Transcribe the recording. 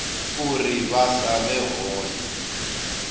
uri vha sa vhe hone